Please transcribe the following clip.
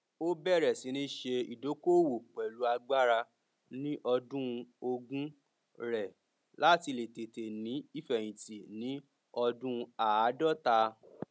ó bẹrẹ sí ní ṣe ìdokoowo pẹlú agbára ní ọdún ogún rẹ láti lè tete ní ìfeyinti ní ọdún aadọta